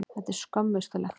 Þetta er skömmustulegt.